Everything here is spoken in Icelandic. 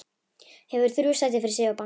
Hefur þrjú sæti fyrir sig og bangsa.